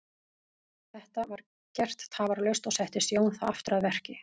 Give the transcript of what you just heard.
Þetta var gert tafarlaust og settist Jón þá aftur að verki.